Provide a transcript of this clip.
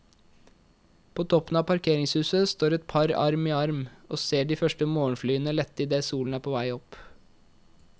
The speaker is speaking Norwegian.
På toppen av parkeringshuset står et par arm i arm og ser de første morgenflyene lette idet solen er på vei opp.